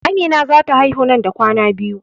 Amina za ta haihu nan da kwana biyu